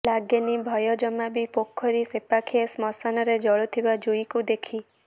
ଲାଗେନି ଭୟ ଜମା ବି ପୋଖରୀ ସେପାଖ ଶ୍ମଶାନରେ ଜଳୁଥିବା ଜୁଇଁକୁ ଦେଖି